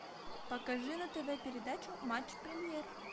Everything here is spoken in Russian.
покажи на тв передачу матч премьер